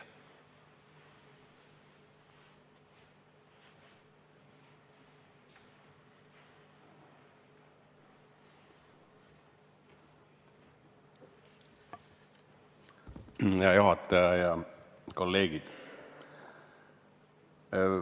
Hea juhataja ja kolleegid!